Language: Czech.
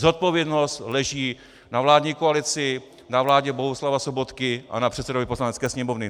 Zodpovědnost leží na vládní koalici, na vládě Bohuslava Sobotky a na předsedovi Poslanecké sněmovny.